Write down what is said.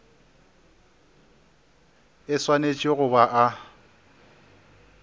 e swanetše go ba a